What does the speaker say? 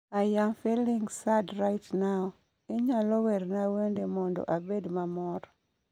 i am feeling sad right now inyalo werna wende mondo abed mamor